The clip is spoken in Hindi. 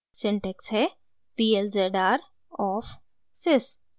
सिंटेक्स है p l z r of sys